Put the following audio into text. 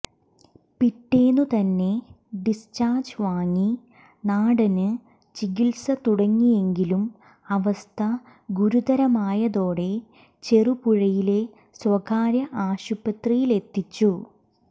പിറ്റേന്നു തന്നെ ഡിസ്ചാര്ജ് വാങ്ങി നാടന് ചികിത്സ തുടങ്ങിയെങ്കിലും അവസ്ഥ ഗുരുതരമായതോടെ ചെറുപുഴയിലെ സ്വകാര്യ ആശുപത്രിയിലെത്തിച്ചു